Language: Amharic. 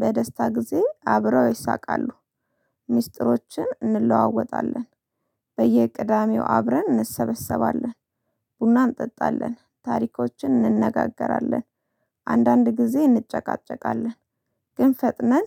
በደስታ ጊዜ አብረው ይሳቃሉ። ሚስጥሮችን እንለዋወጣለን። በየቅዳሜው አብረን እንሰበሰባለን ቡና እንጠጣለን ታሪኮችን እንነጋገራለን። አንዳንድ ጊዜ እንጨቃጨቃለን። ግን ፈጥነን